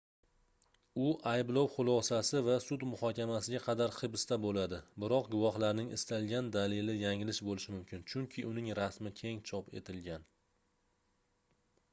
u ayblov xulosasi va sud muhokamasiga qadar hibsda boʻladi biroq guvohlarning istalgan dalili yanglish boʻlishi mumkin chunki uning rasmi keng chop etilgan